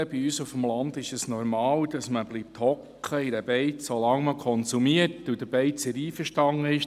Bei uns auf dem Land ist es normal, dass man in einer Beiz sitzen bleibt, solange man konsumiert und der Beizer damit einverstanden ist.